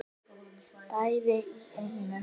Bæði í einu.